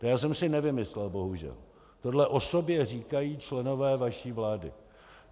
To já jsem si nevymyslel, bohužel, tohle o sobě říkají členové vaší vlády.